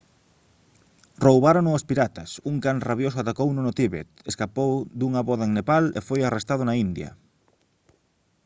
roubárono os piratas un can rabioso atacouno no tíbet escapou dunha voda en nepal e foi arrestado na india